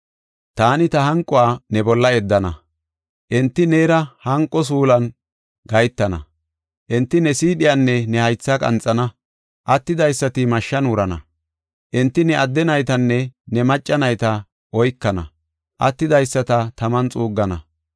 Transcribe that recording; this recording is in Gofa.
Taani ta hanquwa ne bolla yeddana; enti neera hanqo suulan gahetana. Enti ne siidhiyanne ne haythaa qanxana; attidaysati mashshan wurana. Enti ne adde naytanne ne macca nayta oykana; attidaysata taman xuuggana.